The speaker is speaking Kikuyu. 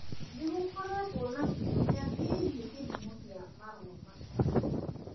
Nĩ gũkoretwo na kĩũria kĩgiĩ kĩhumo kĩa marũa macio.